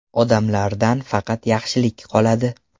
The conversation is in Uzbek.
Odamlardan faqat yaxshilik qoladi.